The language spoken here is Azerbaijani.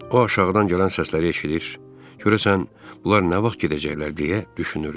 O aşağıdan gələn səsləri eşidir, görəsən bunlar nə vaxt gedəcəklər deyə düşünürdü.